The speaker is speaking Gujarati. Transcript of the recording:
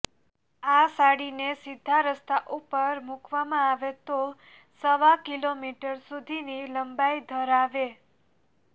આ સાડીને સીધા રસ્તા ઉપર મુકવામાં આવે તો સવા કિલોમીટર સુધીની લંબાઈ ધરાવે